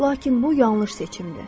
Lakin bu yanlış seçimdir.